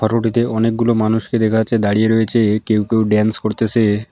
Photo টিতে অনেকগুলো মানুষকে দেখা যাচ্ছে দাঁড়িয়ে রয়েচে কেউ কেউ ড্যান্স করতেসে।